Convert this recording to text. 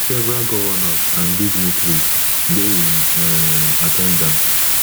several govnors and dignitaries dey in um at ten dance